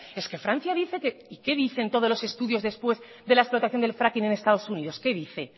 es que francia dice qué dicen todos los estudios después de la explotación del fracking en estados unidos qué dice